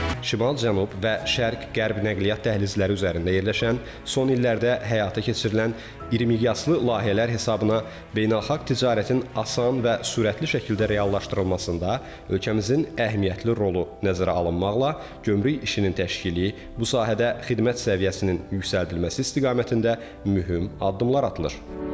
Şimal-cənub və şərq-qərb nəqliyyat dəhlizləri üzərində yerləşən, son illərdə həyata keçirilən irimiqyaslı layihələr hesabına beynəlxalq ticarətin asan və sürətli şəkildə reallaşdırılmasında ölkəmizin əhəmiyyətli rolu nəzərə alınmaqla, gömrük işinin təşkili, bu sahədə xidmət səviyyəsinin yüksəldilməsi istiqamətində mühüm addımlar atılır.